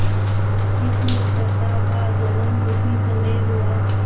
इस मित्रता का जन्म उसी समय हुआ